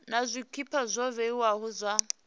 na zwpikwa zwo vhewaho zwa